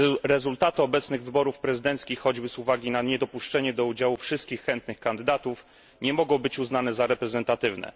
Rezultaty obecnych wyborów prezydenckich, choćby z uwagi na niedopuszczenie do udziału wszystkich chętnych kandydatów, nie mogą być uznane za reprezentatywne.